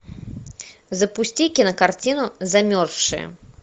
запусти кинокартину замерзшие